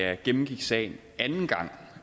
jeg gennemgik sagen anden gang